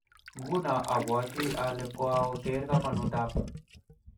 Nguno abwoti ale kaoker kamanut ab